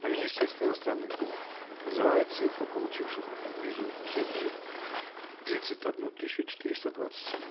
но министерство иностранных дел называет цифру получивших визу ц три тридцать одну тысячу четыреста двадцать семь